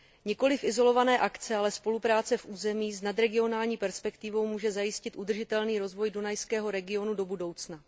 Nikoliv izolované akce, ale spolupráce v území s nadregionální perspektivou může zajistit udržitelný rozvoj dunajského regionu do budoucna.